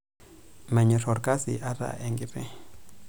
Menyorr olkasi ata enkiti.